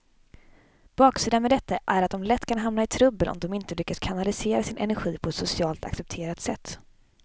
Baksidan med detta är att de lätt kan hamna i trubbel om de inte lyckas kanalisera sin energi på ett socialt accepterat sätt.